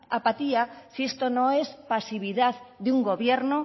apatía si esto no es pasividad de un gobierno